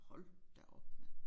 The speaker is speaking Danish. Hold da op mand